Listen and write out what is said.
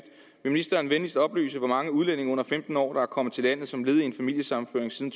ministeren venligst oplyse hvor mange udlændinge under femten år der er kommet til landet som led i en familiesammenføring siden